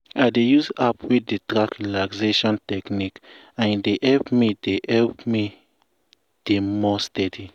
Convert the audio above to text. i dey use app wey dey track relaxation techniques and e dey help me dey help me dey more steady.